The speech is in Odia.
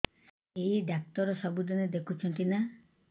ଏଇ ଡ଼ାକ୍ତର ସବୁଦିନେ ଦେଖୁଛନ୍ତି ନା